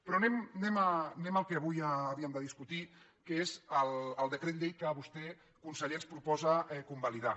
però anem al que avui havíem de discutir que és el decret llei que vostè conseller ens proposa convalidar